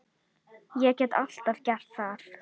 Ég get alltaf gert það.